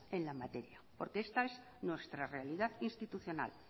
en la materia porque esta es nuestra realidad institucional